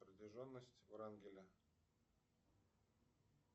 протяженность врангеля